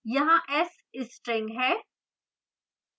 यहाँ s string है